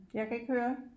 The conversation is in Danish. Jeg kan ikke høre